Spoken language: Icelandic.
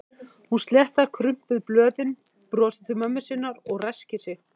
Hún sléttar krumpuð blöðin, brosir til mömmu sinnar og ræskir sig.